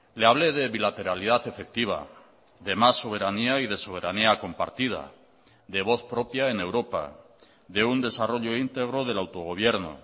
le hablé de bilateralidad efectiva de más soberanía y de soberanía compartida de voz propia en europa de un desarrollo íntegro del autogobierno